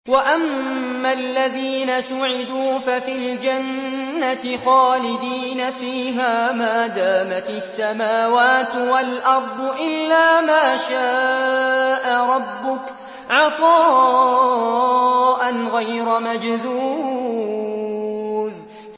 ۞ وَأَمَّا الَّذِينَ سُعِدُوا فَفِي الْجَنَّةِ خَالِدِينَ فِيهَا مَا دَامَتِ السَّمَاوَاتُ وَالْأَرْضُ إِلَّا مَا شَاءَ رَبُّكَ ۖ عَطَاءً غَيْرَ مَجْذُوذٍ